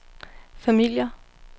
familier